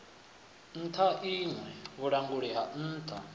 nṱha iṋe vhulanguli ha nṱha